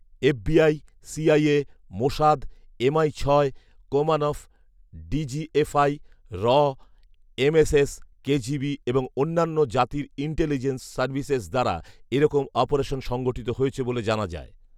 FBI, CIA, Mossad, MI ছয়, কোমানফ, DGFI, র, এমএসএস, কেজিবি এবং অন্যান্য জাতির ইন্টেলিজেন্স সার্ভিসেস দ্বারা এরকম অপারেশন সংগঠিত হয়েছে বলে জানা যায়